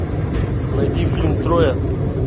найди фильм троя